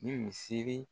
Ni misiri